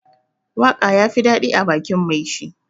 Waka ya fi dadi ã bakin mai shi.